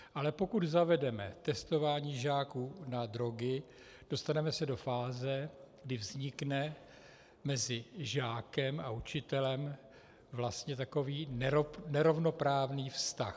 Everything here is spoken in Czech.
Ale pokud zavedeme testování žáků na drogy, dostaneme se do fáze, kdy vznikne mezi žákem a učitelem vlastně takový nerovnoprávný vztah.